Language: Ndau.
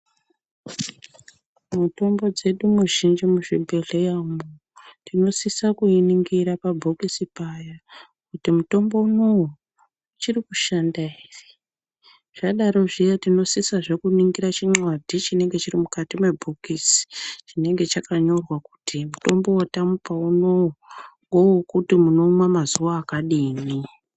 Mitombo dzedu mizhinji muzvibhedhleya umu tinosisa kuiningira pabhokisi payo. Kuti mutombo unouyu uchiri kushanda ere, zvadaro zviya tinosisira kuningira chinxadhi chinenge chiri mukati mebhokisi. Chinga chakanyorwa kuti mutombo vatamupa unouyu, ngevekuti munomwa mazuva akadini.